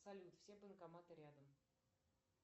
салют все банкоматы рядом